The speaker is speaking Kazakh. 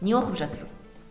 не оқып жатырсың